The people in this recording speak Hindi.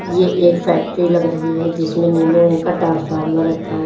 ये एक फैक्ट्री लग रही है जिसमें नीले रंग का ट्रांसफार्मर रखा हुआ।